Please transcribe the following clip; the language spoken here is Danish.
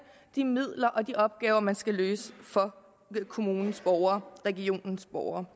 de midler og løse de opgaver man skal løse for kommunens borgere regionens borgere